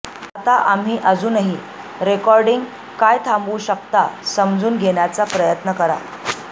आता आम्ही अजूनही रेकॉर्डिंग काय थांबवू शकता समजून घेण्याचा प्रयत्न करा